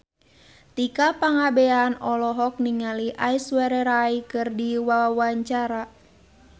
Tika Pangabean olohok ningali Aishwarya Rai keur diwawancara